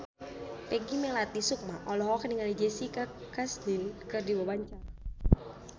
Peggy Melati Sukma olohok ningali Jessica Chastain keur diwawancara